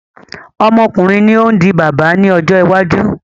Ọmọkùnrin ni ó ń di bàbá ní ọjọ́ iwájú